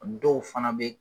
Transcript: Dɔw fana bɛ.